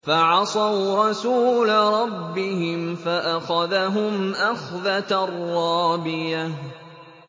فَعَصَوْا رَسُولَ رَبِّهِمْ فَأَخَذَهُمْ أَخْذَةً رَّابِيَةً